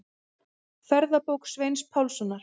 Ferðabók Sveins Pálssonar.